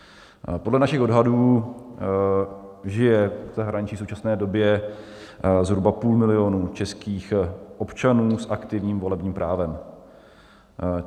Podle našich odhadů žije v zahraničí v současné době zhruba půl milionu českých občanů s aktivním volebním právem.